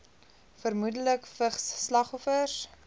vermoedelik vigs slagoffers